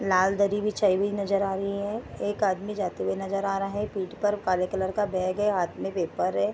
लाल दरी बिछाई हुई नजर आ रही है। एक आदमी जाते हुए नजर आ रहा है। पीठ पर काले कलर का बैग है। हाथ मे पेपर है।